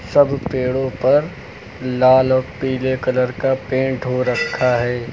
सब पेड़ों पर लाल और पीले कलर का पेंट हो रखा है।